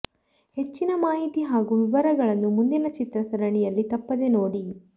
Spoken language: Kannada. ಹೆಚ್ಚಿನ ಮಾಹಿತಿ ಹಾಗೂ ವಿವರಗಳನ್ನು ಮುಂದಿನ ಚಿತ್ರ ಸರಣಿಯಲ್ಲಿ ತಪ್ಪದೇ ನೋಡಿ